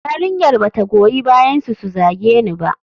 Yarinyar ba ta goyi bayansu su zage ni ba.